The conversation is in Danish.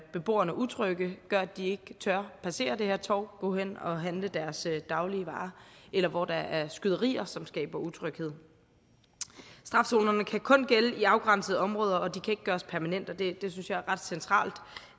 beboerne utrygge gør at de ikke tør passere det her torv gå hen og handle deres daglige varer eller hvor der er skyderier som skaber utryghed strafzonerne kan kun gælde i afgrænsede områder og de kan ikke gøres permanente og det synes jeg er ret centralt